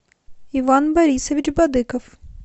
иван борисович бадыков